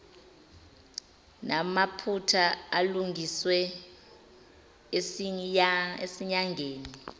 namaphutha alungiswe esinyangeni